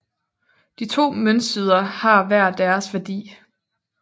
De to møntsider har hver deres værdi